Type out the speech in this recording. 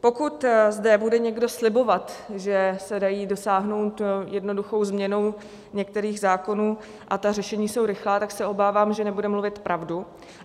Pokud zde bude někdo slibovat, že se dají dosáhnout jednoduchou změnou některých zákonů - a ta řešení jsou rychlá - tak se obávám, že nebude mluvit pravdu.